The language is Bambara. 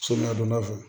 So ladonna fɛ